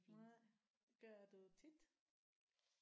Nej. Der er du tit?